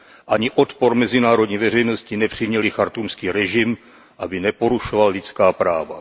Ani odpor mezinárodní veřejnosti nepřiměly chartúmský režim, aby neporušoval lidská práva.